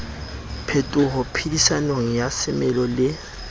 phetoho phedisanong ya semelo le